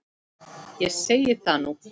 Ég segi það nú!